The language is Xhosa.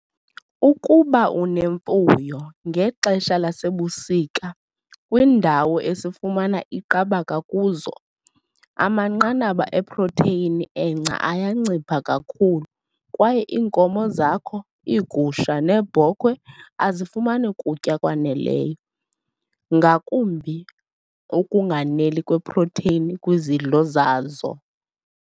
Ukuba unemfuyo, ngexesha lasebusika, kwiindawo esifumana iiqabaka kuzo, amanqanaba eprotheyini engca ayancipha kakhulu kwaye iinkomo zakho, iigusha neebhokhwe azifumani kutya kwaneleyo, ngakumbi ukunganeli kweprotheyini kwizidlo zazo.